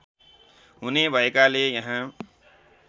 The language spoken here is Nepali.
हुने भएकाले यहाँ